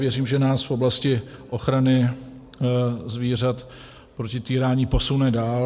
Věřím, že nás v oblasti ochrany zvířat proti týrání posune dál.